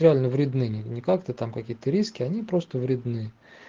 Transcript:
реально вредны ни как то там какие-то риски они просто вредны